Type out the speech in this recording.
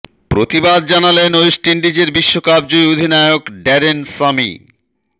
প্রতিবাদ জানালেন ওয়েস্ট ইন্ডিজের বিশ্বকাপ জয়ী অধিনায়ক ড্যারেন সামি